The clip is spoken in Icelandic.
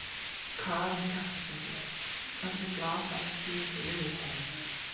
Karen Kjartansdóttir: Hvernig blasa þessi tíðindi við þér Geir?